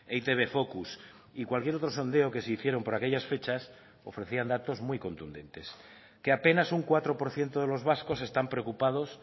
eitb focus y cualquier otro sondeo que se hicieron por aquellas fechas ofrecían datos muy contundentes que apenas un cuatro por ciento de los vascos están preocupados